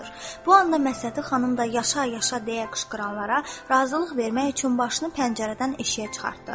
Bu anda Məhsəti xanım da “yaşa, yaşa” deyə qışqıranlara razılıq vermək üçün başını pəncərədən eşiyə çıxartdı.